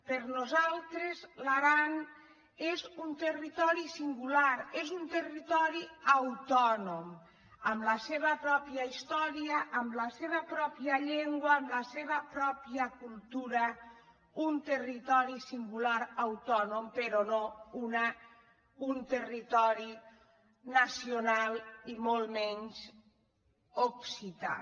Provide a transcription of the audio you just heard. per nosaltres l’aran és un terri·tori singular és un territori autònom amb la seva prò·pia història amb la seva pròpia llengua amb la seva pròpia cultura un territori singular autònom però no un territori nacional i molt menys occità